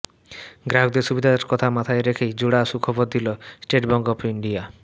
গ্রাহকদের সুবিধার কথা মাথায় রেখেই জোড়া সুখবর দিল স্টেট ব্যাঙ্ক অফ ইন্ডিয়া